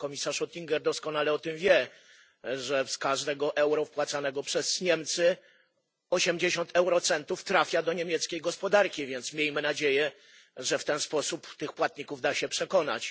Pan komisarz Oettinger doskonale o tym wie, że z każdego euro wpłacanego przez Niemcy 80 eurocentów trafia do niemieckiej gospodarki, więc miejmy nadzieję, że w ten sposób tych płatników da się przekonać.